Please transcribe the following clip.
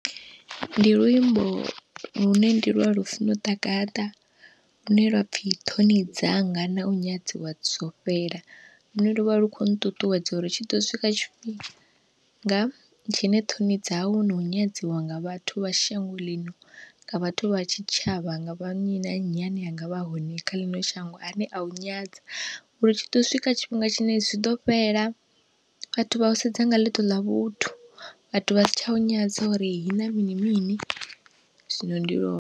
Ndi luimbo lune ndi lwa Lufuno Ḓagaḓa lune lwa pfhi, ṱhoni dzanga na u nyadziwa zwo fhela, lune lu vha lu khou nṱuṱuwedza uri tshi ḓo swika tshifhinga tshine ṱhoni dzau na u nyadziwa nga vhathu vha shango ḽino, nga vhathu vha tshitshavha, nga vha nnyi na nnyi ane angavha a hone kha ḽino shango a ne a u nyadza uri tshi ḓo swika tshifhinga tshine hezwi zwi ḓo fhela, vhathu vha u sedza nga ḽiṱo ḽa vhuthu, vhathu vha si tsha u nyadza uri ihina mini mini, zwino ndi lo.